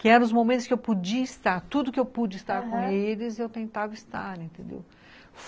Que eram os momentos que eu podia estar, tudo que eu pude estar, aham, com eles, eu tentava estar, entendeu?